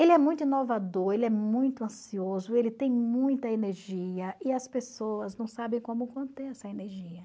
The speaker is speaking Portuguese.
Ele é muito inovador, ele é muito ansioso, ele tem muita energia e as pessoas não sabem como conter essa energia.